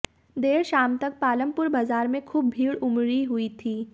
देर शाम तक पालमपुर बाजार में खूब भीड़ उमड़ी हुई थी